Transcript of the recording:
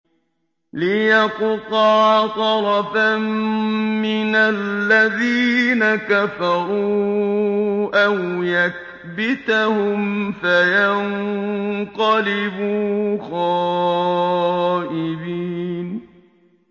لِيَقْطَعَ طَرَفًا مِّنَ الَّذِينَ كَفَرُوا أَوْ يَكْبِتَهُمْ فَيَنقَلِبُوا خَائِبِينَ